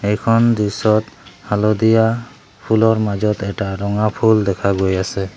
এইখন দৃশ্যত হালধীয়া ফুলৰ মাজত এটা ৰঙা ফুল দেখা গৈ আছে।